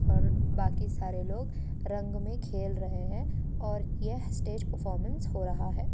और बाकी सारे लोग रंग में खेल रहे हैं और यह स्टेज परफॉर्मेंस हो रहा है।